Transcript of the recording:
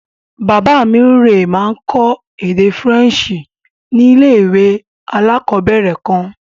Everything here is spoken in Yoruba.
Bàbá rẹ̀ máa ń kọ́ èdè Faransé ní ilé-ìwé alákọ̀ọ̀bẹ̀rẹ̀ kan.